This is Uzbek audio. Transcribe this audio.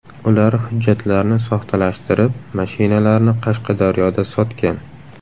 Ular hujjatlarni soxtalashtirib, mashinalarni Qashqadaryoda sotgan.